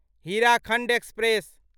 Hirakhand express